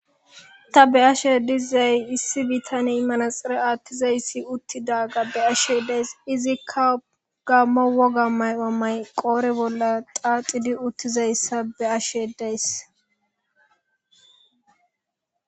ta be ashe dizay issi bittane manaxere aattizayssi uttida gabde ashe days izikka gamma woga may7amay qoore bolla xaaxidi uttizayssa be ashe days